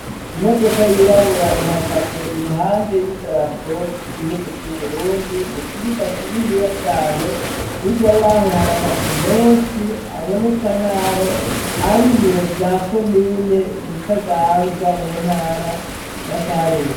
Imodoka yirabura ihagaze iruhande y'idarapo ry'igihugu c'Uburundi mu kibuga kininiya cane nija yaho hari amazu menshi aboneka nkaho ari ibiro bya komine butaganzwa mu ntara ya karusi.